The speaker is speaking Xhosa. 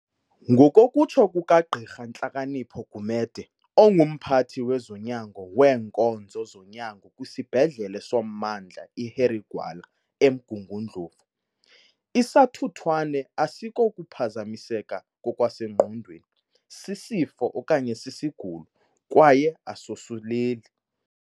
Ngokokutsho kukaGqirha Nhlakanipho Gumede, onguMphathi wezoNyango weeNkonzo zoNyango kwisibhedlele soMmandla i-Harry Gwala eMgungu ndlovu, isathuthwane akusikokuphazamiseka ngokwasengqondweni, sisifo okanye sisigulo, kwaye asosuleli.